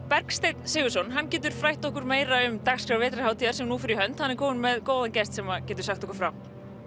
Bergsteinn Sigurðsson getur frætt okkur meira um dagskrá vetrarhátíðar sem nú fer í hönd hann er kominn með góðan gest sem getur sagt okkur frá